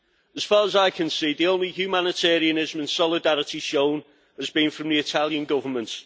As far as I can see, the only humanitarianism and solidarity shown has been from the Italian Government.